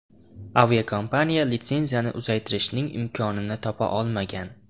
Aviakompaniya litsenziyani uzaytirishning imkonini topa olmagan.